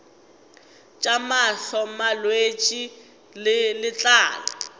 tša mahlo malwetse a letlalo